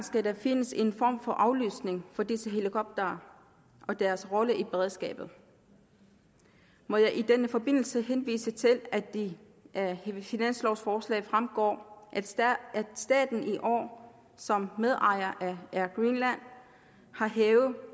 findes en form for afløsning for disse helikoptere og deres rolle i beredskabet må jeg i denne forbindelse henvise til at det af finanslovforslaget fremgår at staten i år som medejer af air greenland har hævet